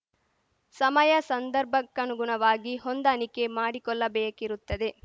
ಸಮಯಸಂದರ್ಭಕ್ಕನುಗುಣವಾಗಿ ಹೊಂದಾಣಿಕೆ ಮಾಡಿಕೊಲ್ಲಬೇಕಿರುತ್ತದೆ